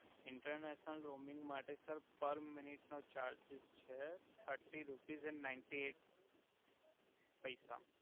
international roaming માટે sir per minute નો charges છે thirty rupees and ninety eight પૈસા